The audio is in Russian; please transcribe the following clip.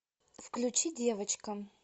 включи девочка